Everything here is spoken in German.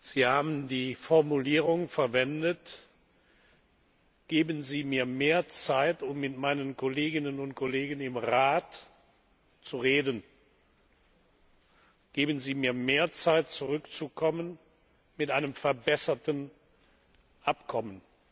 Sie haben die Formulierung verwendet Geben Sie mir mehr Zeit, um mit meinen Kolleginnen und Kollegen im Rat zu reden, geben Sie mir mehr Zeit, zurückzukommen mit einem verbesserten Abkommen!